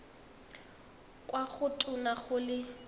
kwa go tona go le